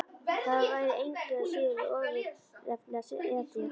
Það væri engu að síður við ofurefli að etja.